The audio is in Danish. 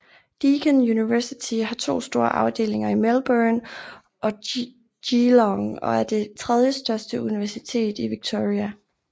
Deakin University har to store afdelinger i Melbourne og Geelong og er det tredjestørste universitet i Victoria